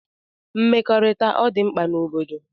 Mmekọrita ọdi mkpa n'obodo.